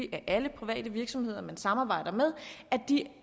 at alle private virksomheder der samarbejdes med